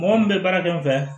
Mɔgɔ min bɛ baara kɛ n fɛ